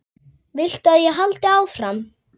Viltu að ég haldi áfram?